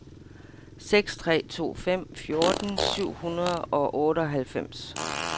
seks tre to fem fjorten syv hundrede og otteoghalvfems